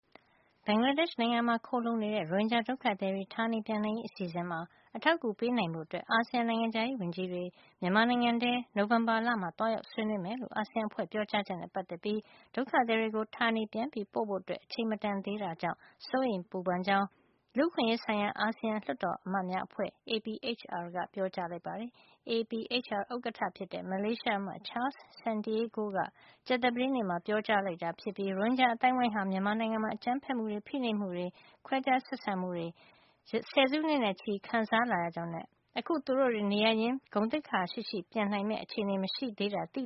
ဘင်္ဂလားဒေ့ရှ် နိုင်ငံမှာ ခိုလှုံနေတဲ့ ရိုဟင်ဂျာဒုက္ခသည်တွေ ဌာနေပြန်နိုင်ရေးအစီစဉ်မှာ အထောက်အကူပေးနိုင်ဖို့ အတွက် အာဆီယံ နိုင်ငံခြားရေးဝန်ကြီးတွေ မြန်မာနိုင်ငံကို နိုဝင်ဘာလထဲ သွားရောက်ဆွေးနွေးမယ်လို့ အာဆီယံအဖွဲ့ရဲ့ ပြောကြားချက်နဲ့ ပတ်သက်ပြီး ဒုက္ခသည်တွေကို ဌာနေပြန်ပို့ဖို့ အချိန်မတန်သေးတဲ့အတွက် စိုးရိမ် ပူပန်မိကြောင်း လူ့အခွင့်ရေးဆိုင်ရာ အာဆီယံ လွှတ်တော်အမတ်များအဖွဲ့ APHR က ပြောကြားလိုက်ပါတယ်။ APHR ဥက္ကဌ ဖြစ်တဲ့ မလေးရှားအမတ် Charles Santiago က ကြာသပတေးနေ့မှာ ပြောကြားလိုက်တာ ဖြစ်ပြီး ရိုဟင်ဂျာအသိုင်းဝိုင်းဟာ မြန်မာနိုင်ငံမှာ အကြမ်းဖက်မှုတွေ ဖိနှိပ်မှုတွေ၊ ခွဲခြားဆက်ဆံမှုတွေကို ဆယ်စုနှစ်နဲ့ ချီခံစားခဲ့ရကြောင်းနဲ့ အခု သူတို့တွေ နေရပ်ရင်းကို ဂုဏ်သိက္ခာ ရှိရှိလုံခြုံစွာ ပြန်နိုင်မယ့် အခြေနေမရှိသေးတာ သိ